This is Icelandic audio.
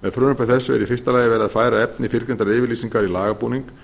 með frumvarpi þessu er í fyrsta lagi verið að færa efni fyrrgreindrar yfirlýsingar í lagabúning en